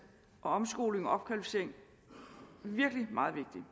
og omskoling og opkvalificering virkelig meget vigtig